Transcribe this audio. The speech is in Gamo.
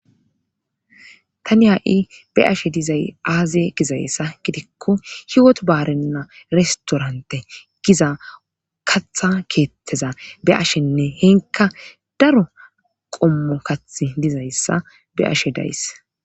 tani ha7i be ashe dizay aazee gizayssa gidikko hiwot baarenna restorante giza katha keetteza be ashenne henka daro qommo kathi dizayssa be ashe days